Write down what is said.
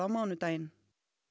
mánudaginn